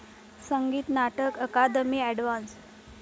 संगीत नाटक अकादमी अवॉर्ड्स